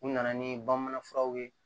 U nana ni bamanan furaw ye